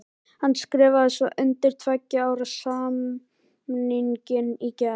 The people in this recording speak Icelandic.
Hann skrifaði svo undir tveggja ára samningin í gær.